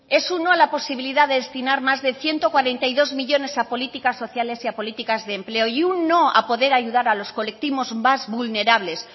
es un no a la posibilidad de destinar más de ciento cuarenta y dos millónes a políticas sociales y a políticas de empleo y un no a poder ayudar a los colectivos más vulnerables